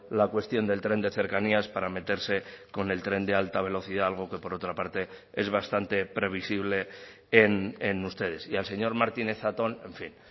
la cuestión del tren de cercanías para meterse con el tren de alta velocidad algo que por otra parte es bastante previsible en ustedes y al señor martínez zatón en fin